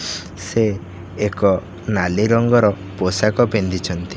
ସେ ଏକ ନାଲି ରଙ୍ଗର ପୋଷାକ ପିନ୍ଧିଛନ୍ତି।